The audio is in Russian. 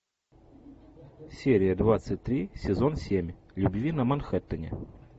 серия двадцать три сезон семь любви на манхеттене